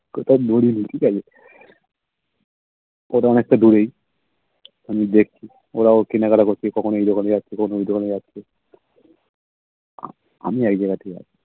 ঐটা অনেকটা দূরেই ঠিকাছে ওটা অনেকটা দুরেই আমি দেখছি ওরাও কেনাকাটা করছে কখনো এই দোকানে যাচ্ছে কখনো ওই দোকানে যাচ্ছে আমি একযায়গাতেই আছি